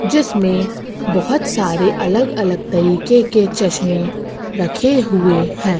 जिसमें बहोत सारे अलग अलग तरीके के चश्मे रखे हुए हैं।